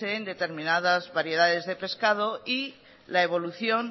en determinadas variedades de pescado y la evolución